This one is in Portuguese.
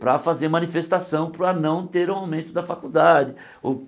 Para fazer manifestação para não ter aumento da faculdade. Ou